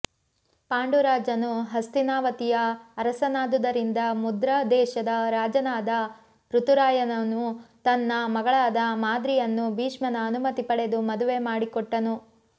ಪಾಂಡುರಾಜನು ಹಸ್ತಿನಾವತಿಯ ಅರಸನಾದುದರಿಂದ ಮದ್ರದೇಶದ ರಾಜನಾದ ಋತುರಾಯನು ತನ್ನ ಮಗಳಾದ ಮಾದ್ರಿಯನ್ನು ಭೀಷ್ಮನ ಅನುಮತಿ ಪಡೆದು ಮದುವೆ ಮಾಡಿಕೊಟ್ಟನು